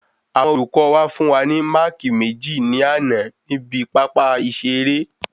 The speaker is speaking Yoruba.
Àwọn olùkọ fún wa ni máàkì meji ni àná ni ibi pápá ìṣẹ eré